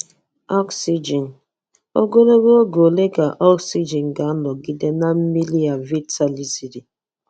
Oxijin: Ogologo oge ole ka oxijin ga-anọgide na mmiri a vitaliziri?